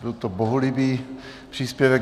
Byl to bohulibý příspěvek.